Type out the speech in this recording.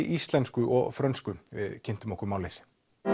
íslensku og frönsku við kynntum okkur málið